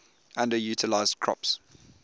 underutilized crops